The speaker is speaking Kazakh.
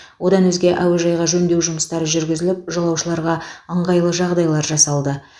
одан өзге әуежайға жөндеу жұмыстары жүргізіліп жолаушыларға ыңғайлы жағдайлар жасалды